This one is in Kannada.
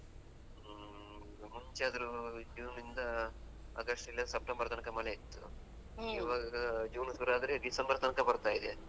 ಹ್ಮ್ ಮುಂಚೆಯಾದ್ರು ಜೂನ್ ನಿಂದ ಆಗಸ್ಟಿಲ್ಲಾ ಸೆಪ್ಟೆಂಬರ್ ತನಕ ಮಳೆ ಇತ್ತು. ಇವಾಗ ಜೂನಿಗೆ ಸುರು ಆದ್ರೆ ಡಿಸೆಂಬರ್ ತನಕ ಬರ್ತಾ ಇದೆ.